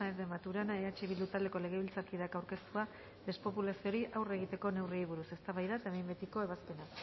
de maturana eh bildu taldeko legebiltzarkideak aurkeztua despopulazioari aurre egiteko neurriei buruz eztabaida eta behin betiko ebazpena